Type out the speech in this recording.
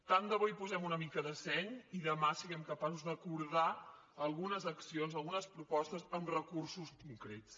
tant de bo hi posem una mica de seny i demà siguem capaços d’acordar algunes accions algunes propostes amb recursos concrets